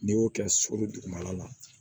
N'i y'o kɛ suru dugumala la